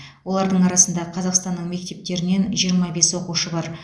олардың арасында қазақстанның мектептерінен жиырма бес оқушы бар